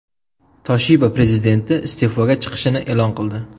Toshiba prezidenti iste’foga chiqishini e’lon qildi.